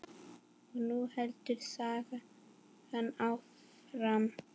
Og nú heldur sagan áfram!